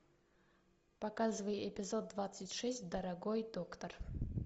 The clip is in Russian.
показывай эпизод двадцать шесть дорогой доктор